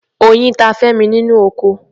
Oyin ta Femi nínú oko.